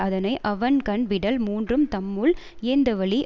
அதனை அவன்கண் விடல் மூன்றும் தம்முள் இயைந்தவழி